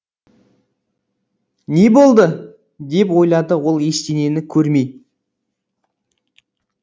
не болды деп ойлады ол ештеңені көрмей